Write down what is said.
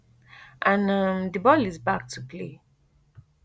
an um di ball is back to play